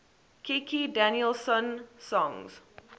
kikki danielsson songs